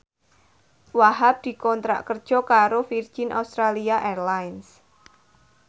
Wahhab dikontrak kerja karo Virgin Australia Airlines